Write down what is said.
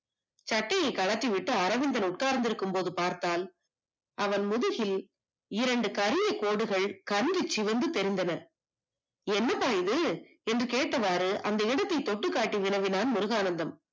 சட்டையை கழட்டி விட்டு அரவிந்தன் உட்கார்ந்து இருப்பதை பார்த்தால் அவன் முதுகில் இரண்டு கரிய கோடுகள் நன்கு சிவந்து திரிந்தன என்னப்பா இது என்று கேட்டவாறு அந்த இடத்தை தொட்டி காற்று வினவினால் முருகானந்தம்